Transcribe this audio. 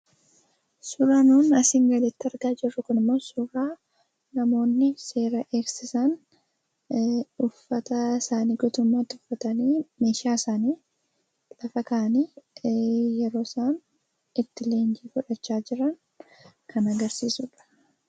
Suuraan nun asiin gaditti argaa jirru Kun immoo, suuraa namoonni seera eegsisan uffata isaanii guutummaatti uffatanii, meeshaa isaanii lafa kaa'anii, yeroo isaan itti leenjii fudhataa jiran kan agarsiisudha.